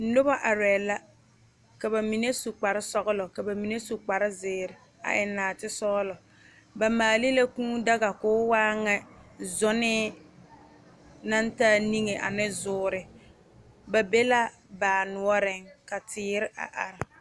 Noba arɛɛ la ka ba mine su kpar sɔgelɔ ka ba mine su kpar zeere a eŋ naate sɔgelɔ ba maale la kûû daga ka o waa ŋa sonne naŋ taa niŋe ane zuuri ba be la noɔreŋ ka teere a are